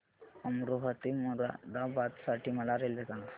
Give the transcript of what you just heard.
अमरोहा ते मुरादाबाद साठी मला रेल्वे सांगा